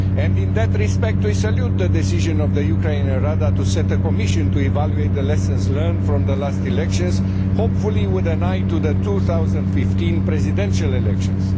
In that respect we salute the decision of the Ukraine to set up a commission to evaluate the lessons learned from the last elections, hopefully with an eye to the 2015 presidential elections.